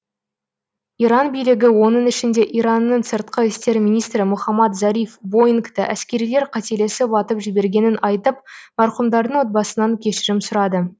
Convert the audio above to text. иран билігі оның ішінде иранның сыртқы істер министрі мохаммад зариф боингті әскерилер қателесіп атып жібергенін айтып марқұмдардың отбасынан кешірім сұрады